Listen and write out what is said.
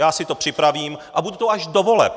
Já si to připravím a budu tu až do voleb.